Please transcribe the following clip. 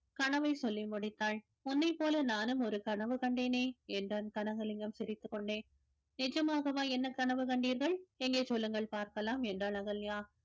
கனவை சொல்லி முடித்தாள் உன்னை போல நானும் ஒரு கனவு கண்டேனே என்றான் கனகலிங்கம் சிரித்துக் கொண்டே நிஜமாகவா என்ன கனவு கண்டீர்கள் எங்கே சொல்லுங்கள் பார்க்கலாம் என்றாள் அகல்யா